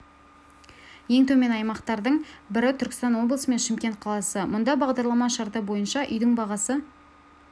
ең төмен аймақтардың бірі түркістан облысы мен шымкент қаласы мұнда бағдарлама шарты бойынша үйдің бағасы